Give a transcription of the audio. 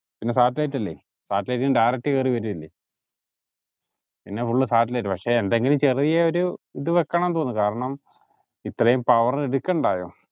പിന്നെ satellite അല്ലെ satellite ന്ന് direct കേറി വേരുവല്ലേ പിന്നെ full satellite പക്ഷെ പിന്നെ എന്തെങ്കിലും ചെറിയ ഒരു ഇത് വെക്കണം തോന്നും കാരണം ഇത്രേം power എടുക്കണ്ടായോ